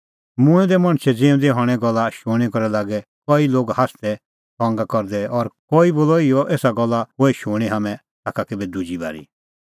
मूंऐं दै मणछे ज़िऊंदै हणें गल्ला शूणीं करै लागै कई लोग हास्सदै ठठै करदै और कई बोलअ इहअ एसा गल्ला होए शूणीं हाम्हैं ताखा केभै दुजी बारी